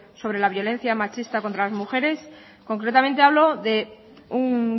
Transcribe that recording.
sobre la violencia machista contra las mujeres concretamente hablo de un